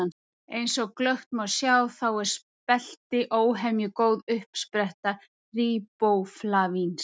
eins og glöggt má sjá þá er spelti óhemju góð uppspretta ríbóflavíns